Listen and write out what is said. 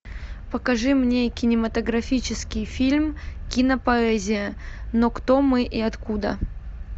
покажи мне кинематографический фильм кинопоэзия но кто мы и откуда